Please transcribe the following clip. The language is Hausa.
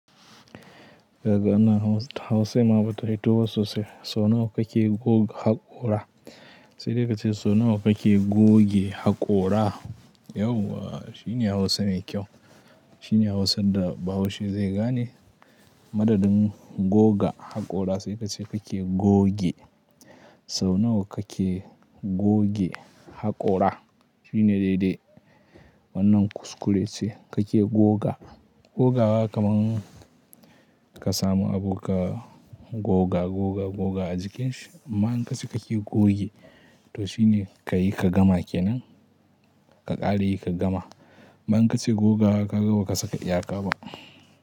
Kaga wannan hausa, Hausan ma bata fito ba sosai. Sau nawa kake goga haƙora? Sai dai ka ce so nawa kake goge haƙora? Yauwa! Shine Hausa mai kyau. Shine Hausan da bahaushe zai gane. Madadin goga haƙora sai ka ce kake goge. So nawa kake goge haƙora? Shine daidai. Wanna kuskure ce kake goga. Gogawa kaman ka samu abu ka goga, goga, goga a jikinshi. Amma in ka ce kake goge to shine ka yi ka gama kenan, ka ƙara yi ka gama. Amma in ka ce gogawa kaga baka saka iyaka ba.